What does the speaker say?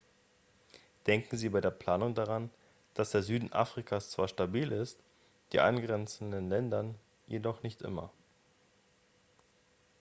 denken sie bei der planung daran dass der süden afrikas zwar stabil ist die angrenzenden länder jedoch nicht immer